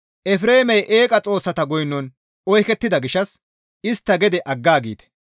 Efreemey eeqa xoossata goynon oykettida gishshas istta gede aggaagite.